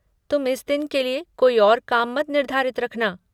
तुम इस दिन के लिए कोई और काम मत निर्धारित रखना।